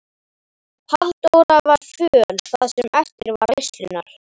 Halldóra var föl það sem eftir var veislunnar.